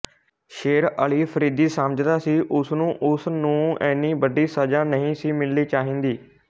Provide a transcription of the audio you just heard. ਸ਼ੇਰ ਅਲੀ ਅਫ਼ਰੀਦੀ ਸਮਝਦਾ ਸੀ ਉਸਨੂੰ ਉਸ ਨੂੰ ਏਨੀ ਵੱਡੀ ਸਜ਼ਾ ਨਹੀਂ ਸੀ ਮਿਲਣੀ ਚਾਹੀਦੀ